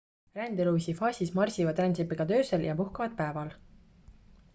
rändeluviisi faasis marsivad rändsipelgad öösel ja puhkavad päeval